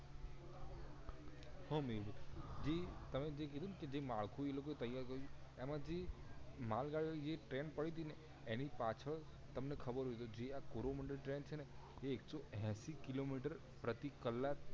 હા મેહુલભાઈ જે તમે જે કીધું ન જે માળખું જે માળખું એ લોકો એ તૈયાર કરિયું છે એમાં થી માલગાડી ઓ ની જે ટ્રેન પડી તી ને એની પાછડ તમને ખબર હોય તો જે આ કોરોમન્ડળ ટ્રેન છે ને એ એક સો એસી કિલો મીટર પ્રતિ કલાક